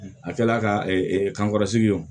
A kɛla ka kankɔrɔ sigi wo